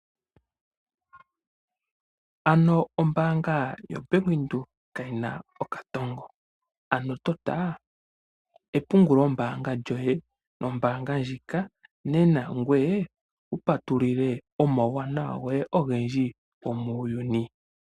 Ano ombaanga yaBank Windhoek kayina okatongo, ano tota epungulo mbaanga lyoye nombaanga ndjika nena ngoye wupatululilwa omauwanawa goye ogendji gomuuyuni